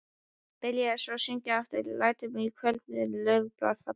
Byrjaði svo að syngja aftur: LÆTUR Á KVÖLDIN LAUFBLÖÐ FALLA.